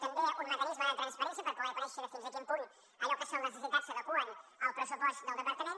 també un mecanisme de transparència per poder conèixer fins a quin punt allò que són les necessitats s’adequa al pressupost del departament